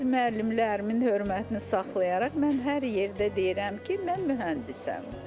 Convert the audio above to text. Öz müəllimlərimin hörmətini saxlayaraq mən hər yerdə deyirəm ki, mən mühəndisəm.